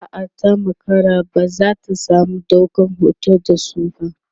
a'a ta makara ba zata samu ɗaukan hoton da su ba